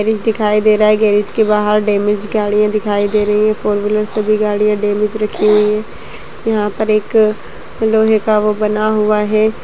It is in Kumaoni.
गैरेज दिखाई दे रहा है गैरेज के बाहर डैमेज गाड़ियां दिखाई दे रही हैं फोर व्हीलर सभी गाड़ियां डैमेज रखी हुई है यहाँ पर एक लोहे का वो बना हुआ है।